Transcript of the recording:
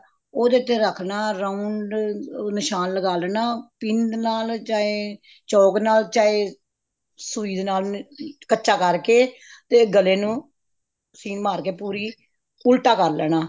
ਉਹਦੇ ਤੇ ਰੱਖਣਾ round ਨਿਸ਼ਾਨ ਲਗਾ ਲੈਣਾ pen ਨਾਲ ਚਾਹੇ ਚੋਕ ਨਾਲ ਸੁਈ ਦੇ ਨਾਲ ਕੱਚਾ ਕਰਕੇ ਤੇ ਗਲੇ ਨੂੰ ਸੀਨ ਮਾਰ ਕੇ ਪੂਰੀ ਉਲਟਾ ਕਰ ਲੈਣਾ